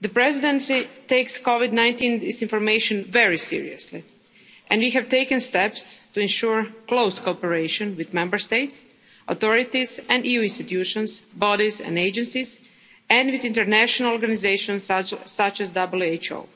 The Presidency takes COVID 19 disinformation very seriously and we have taken steps to ensure close cooperation with Member State authorities, with EU institutions, bodies and agencies, and with international organisations such